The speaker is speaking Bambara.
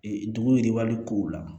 Ee dugu yiriwali kow la